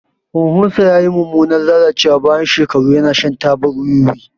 Huhunsa ya yi mummunan lalacewa bayan shekaru yana shan tabar wiwi.